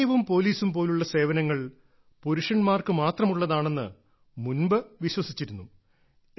സൈന്യവും പോലീസും പോലുള്ള സേവനങ്ങൾ പുരുഷന്മാർക്ക് മാത്രമുള്ളതാണെന്ന് മുമ്പ് വിശ്വസിച്ചിരുന്നു